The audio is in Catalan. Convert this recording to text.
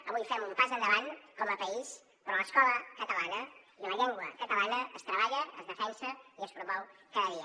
avui fem un pas endavant com a país però l’escola catalana i la llengua catalana es treballen es defensen i es promouen cada dia